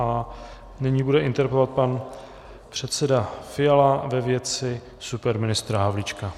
A nyní bude interpelovat pan předseda Fiala ve věci superministra Havlíčka.